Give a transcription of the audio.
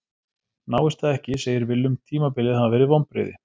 Náist það ekki segir Willum tímabilið hafa verið vonbrigði.